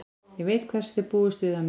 Ég veit hvers þið búist við af mér.